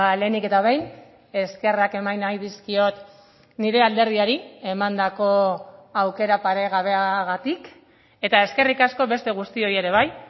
lehenik eta behin eskerrak eman nahi dizkiot nire alderdiari emandako aukera paregabeagatik eta eskerrik asko beste guztioi ere bai